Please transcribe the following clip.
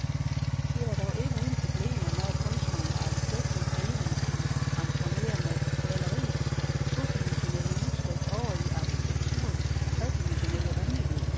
Det var dog ikke uden problemer, når kunstneren og arkitekten i forening skulle transformere maleriets todimensionelle udtryk over i arkitekturens tredimensionelle rumlighed.